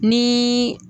Ni